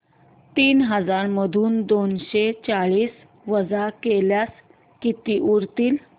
तीन हजार मधून दोनशे चाळीस वजा केल्यास किती उरतील